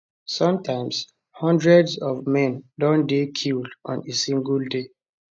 sometimes hundreds of men don dey killed on a single day